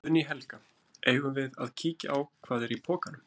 Guðný Helga: Eigum við að kíkja á hvað, hvað er í pokunum?